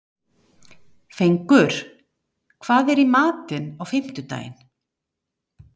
Fengur, hvað er í matinn á fimmtudaginn?